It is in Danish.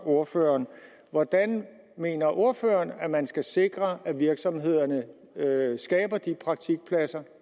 ordføreren hvordan mener ordføreren at man skal sikre at virksomhederne skaber de praktikpladser